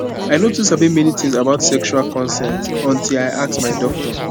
i no too sabi many things about sexual consent until i ask my doctor